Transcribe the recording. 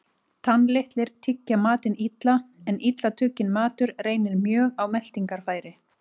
Tannlitlir tyggja matinn illa, en illa tugginn matur reynir mjög á meltingarfæri.